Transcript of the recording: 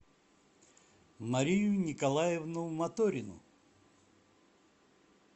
марию николаевну моторину